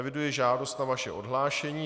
Eviduji žádost o vaše odhlášení.